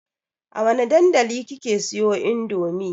A wane dandali kika siyo indomie?